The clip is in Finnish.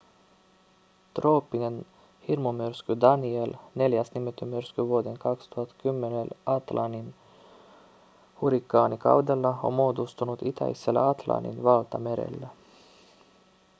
trooppinen hirmumyrsky danielle neljäs nimetty myrsky vuoden 2010 atlantin hurrikaanikaudella on muodostunut itäisellä atlantin valtamerellä